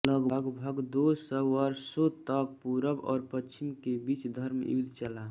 लगभग दो सौ वर्षों तक पूरब और पश्चिम के बीच धर्मयुद्ध चला